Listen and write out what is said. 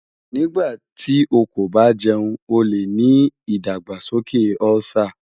Nigbati o ko ba jẹun o le ni idagbasoke Ulcer